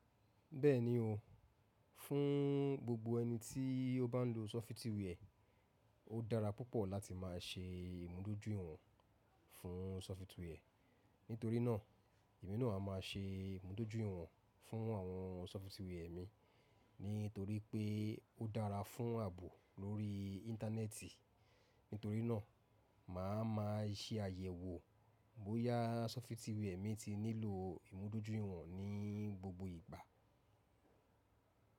Bẹ́ẹ̀ni o, fún gbogbo ẹni tí ó bá ń lo sọfitíwà ẹ̀, ó dára púpọ̀ láti má a ṣe ìmúdójúìwọ̀n fún sọfitíwà ẹ̀. Nítorí náà, èmi náà a má a ṣe ìmúdójúìwọ̀n fún àwọn sọfitíwà ẹ̀ mi nítorí pé ó dára fún ààbò lórí Íńtánẹ́ẹ̀tì. Nítorí náà, mà á má a ṣe àyẹ̀wò bóyá sọfitíwà ẹ̀ mi ti nílò ìmúdójúìwọ̀n ní gbogbo ìgbà.